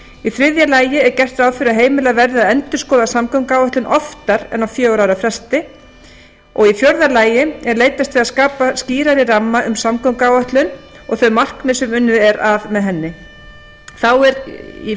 í þriðja lagi er gert ráð fyrir að heimilað verði að endurskoða samgönguáætlun oftar en á fjögurra ára fresti í fjórða lagi er leitast við að skapa skýrari ramma um samgönguáætlun og þau markmið sem unnið er að með henni í